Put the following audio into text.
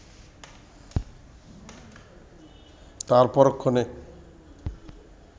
তার পরক্ষণে